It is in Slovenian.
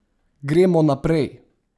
Gremo naprej!